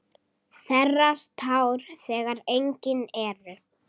Þerrar tár þegar engin eru.